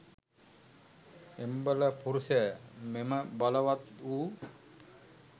එම්බල පුරුෂය, මෙම බලවත් වූ